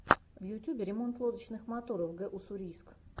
в ютюбе ремонт лодочных моторов г уссурийск